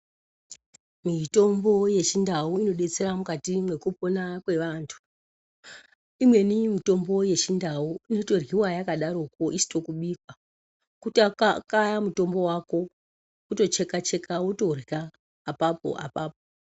Mitombo yeChiNdau inodetsera mukati mwekupona kwevantu. Imweni mitombo yeChiNdau inotoryiwa yakadaroko isino kubikwa. Kutakaya mutombo wako, wotocheka-cheka wotorya, apapo apapo.